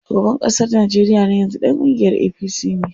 Shugaban ƙasar Najeriya na yanzu ɗan kungiyar APC ne.